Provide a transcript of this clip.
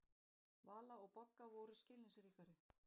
Vala og Bogga voru skilningsríkari.